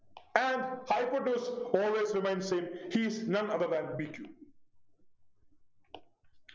And hypotenuse always remain same he is none other than b q